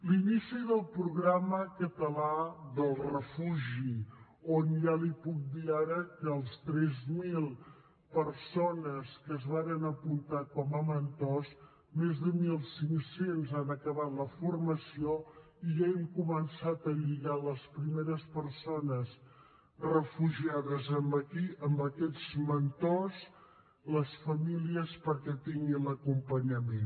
l’inici del programa català del refugi on ja li puc dir ara que de les tres mil persones que es varen apuntar com a mentors més de mil cinc cents han acabat la formació i ja hem començat a lligar les primeres persones refugiades amb aquests mentors les famílies perquè tinguin l’acompanyament